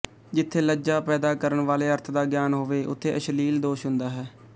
ਜਿੱਥੇ ਲੱਜਾ ਪੈਦਾ ਕਰਨ ਵਾਲੇ ਅਰਥ ਦਾ ਗਿਆਨ ਹੋਵੇ ਉਥੇ ਅਸ਼ਲੀਲ ਦੋਸ਼ ਹੁੰਦਾ ਹੈ